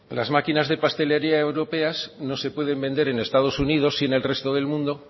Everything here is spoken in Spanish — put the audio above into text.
las maquinas de pastelería europeas no se pueden vender en estado unidos sí en el resto del mundo